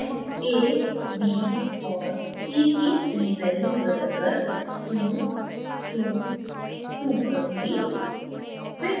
मैं a b और c की field values बदलकर 2 2 2 करुँगी